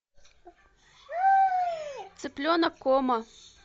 цыпленок комо